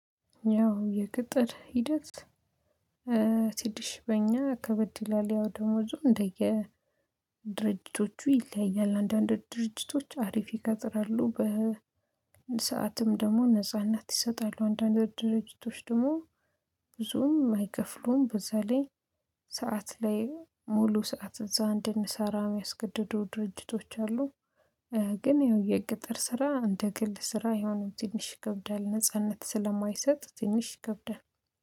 ያው የቅጥር ሂደት። ስድስት ሺህ በእኛ ከበድ ይላል ያው ደሞዙ እንደየ ድርጅቶቹ ይለያያል አንዳንድ ድርጅቶች አሪፍ ይቀጥራሉ በሰአትም ደግሞ ነጻነት ይሰጣሉ አንዳንድ ድርጅቶች ደግሞ ብዙም አይከፍሉም በዛ ላይ ሰዓት ላይ ሙሉ ሰዓት እዛ እንድንሰራ የሚያስገድደው ድርጅቶች አሉ። ግን የቅጥር ስራ እንደ ግል ስራ አይሆንም ትንሽ ይከብዳል ነጻነት ስለማይሰጥ ትንሽ ይከብዳል